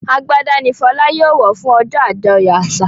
Àgbàdá ní Fola yóò wọ fún ojó ajoyọ àṣà.